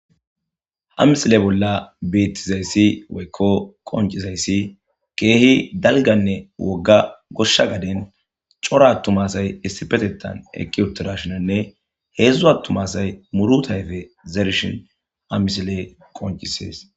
Ha misile bolla beettizayssi weykko qoncizayssi keehi dalganne wogga goshsha gaden cora attumasay issipetetan eki uttirashinanne heedzdzu attumasay muru tayfe zerishin ha misile qoncisees.